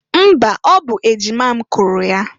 Mba! Ọ bụ ejima m kụrụ ya.